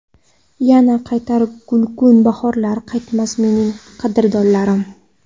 Yana qaytar gulgun bahorlar, Qaytmas mening qadrdonlarim.